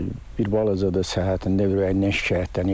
Bir balaca da səhhətində ürəyindən şikayətlənirdi.